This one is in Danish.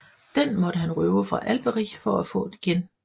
Den måtte han røve fra Alberich for at få igen